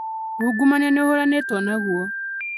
Ũngumania nĩ ũhũranĩtwo naguo